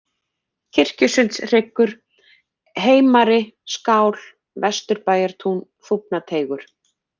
Kirkjusundshryggur, Heimari-Skál, Vesturbæjartún, Þúfnateigur